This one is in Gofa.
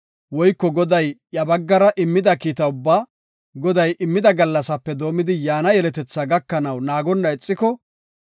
woyko Goday iya baggara immida kiita ubbaa, Goday immida gallasaape doomidi yaana yeletetha gakanaw naagonna ixiko,